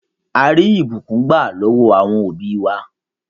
À rí ìbùkún gbà lọwọ̀ awọn obì wa.